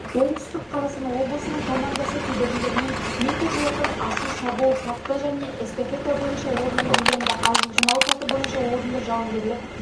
оңтүстік қазақстан облысының командасы кедергілерімен метр жолақтан асу шабуыл саты және эстафета бойынша орынды иеленді ал жылжымалы саты бойынша орынды жауынгерлік